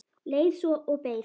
Leið svo og beið.